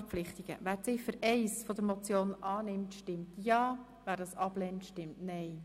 Wer Ziffer 1 zustimmt, stimmt ja, wer sie ablehnt, stimmt nein.